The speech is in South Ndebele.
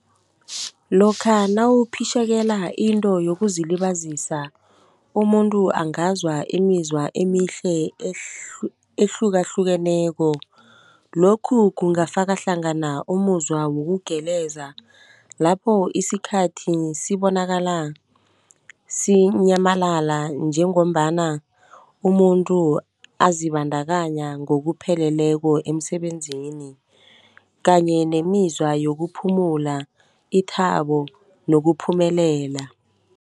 Lokha nawuphitjhekela into yokuzilibazisa umuntu angazwa imizwa emihle ehlukahlukeneko. Lokhu kungafaka hlangana umuzwa wokugeleza, lapho isikhathi sibonakala sinyamalala njengombana umuntu azibandakanya ngokupheleleko emsebenzini kanye nemizwa yokuphumula, ithabo nokuphumelela.